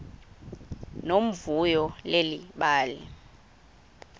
nomvuyo leli bali